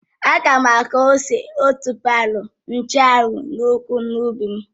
Ága m aku ose, otuboala, nchụ́anwu na ugu n'ubi m